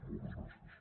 moltes gràcies